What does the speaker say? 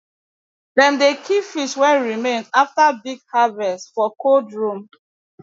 dem dey keep fish wey remain after big harvest for cold room